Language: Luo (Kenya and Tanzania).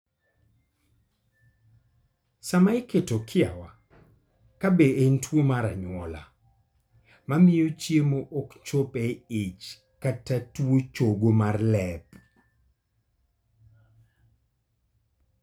Sama iketo kiawa kabe en tuwo mar anyuola, mamio chiemo ok chop e ich kata tuo chogo mar lep